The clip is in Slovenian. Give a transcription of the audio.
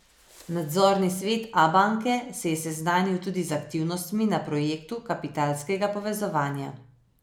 Nadzorni svet Abanke se je seznanil tudi z aktivnostmi na projektu kapitalskega povezovanja.